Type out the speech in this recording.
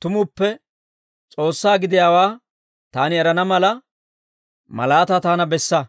tumuppe S'oossaa gidiyaawaa taani erana mala, malaataa taana bessa.